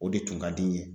O de tun ka di n ye